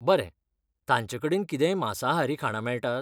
बरें, तांचेकडेन कितेंय मांसाहारी खाणां मेळटात?